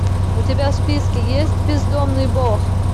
у тебя в списке есть бездомный бог